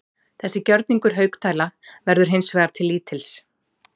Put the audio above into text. Þessi gjörningur Haukdæla verður hins vegar til lítils.